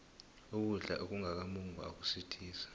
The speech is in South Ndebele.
ukudla okungaka mungwa akusuthisi